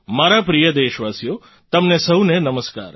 મારા પ્રિય દેશવાસીઓ તમને સહુને નમસ્કાર